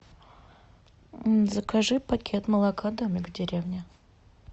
закажи пакет молока домик в деревне